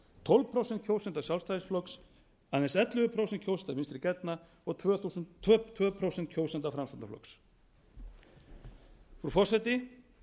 tólf prósent kjósenda sjálfstæðisflokks aðeins ellefu prósent kjósenda vinstri grænna og tvö prósent kjósenda framsóknarflokks frú forseti